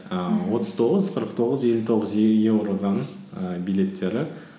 ііі отыз тоғыз қырық тоғыз елу тоғыз еуродан і билеттері